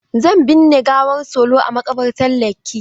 Zan binne gawar Solo a maƙabartan Lekki.